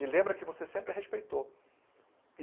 E lembra que você sempre respeitou.